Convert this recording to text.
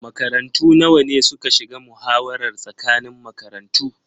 Makarantu nawa ne suka shiga muhawarar tsakanin makarantu?